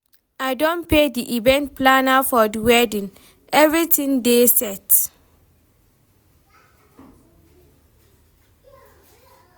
I don pay di event planner for di wedding, everytin dey set.